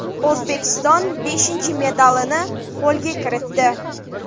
O‘zbekiston beshinchi medalini qo‘lga kiritdi.